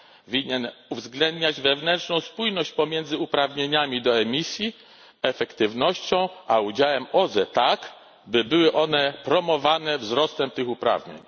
winien uwzględniać wewnętrzną spójność pomiędzy uprawnieniami do emisji, efektywnością a udziałem OZE tak, by były one promowane wzrostem tych uprawnień.